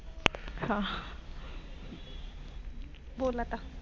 आह बोल आता